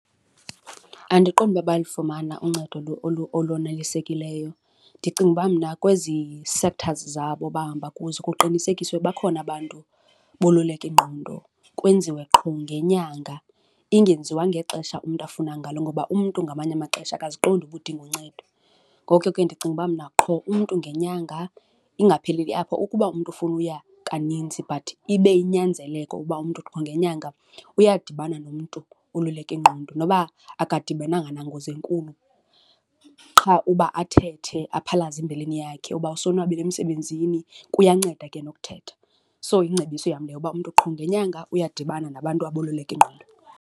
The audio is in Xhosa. Andiqondi uba bayalufumana uncedo olonelisekileyo. Ndicinga uba mna kwezi septhazi zabo bahamba kuzo kuqinisekiswe bakhona abantu boluleka ingqondo. Kwenziwe qho ngenyanga ingenziwa ngexesha umntu afuna ngalo ngoba umntu ngamanye amaxesha akaziqondi uba udinga uncedo. Ngoko ke ndicinga uba mna qho umntu ngenyanga, ingapheleli apho ukuba umntu ufuna uya kaninzi but ibe yinyanzeleko uba umntu qho ngenyanga uyadibana nomntu woluleka ingqondo. Noba akadibenanga nangozi enkulu qha uba athethe aphalaze imbilini yakhe uba usonwabile emsebenzini, kuyanceda ke nokuthetha. So, yingcebiso yam leyo uba umntu qho ngenyanga uyadibana nabantu aboluleka ingqondo.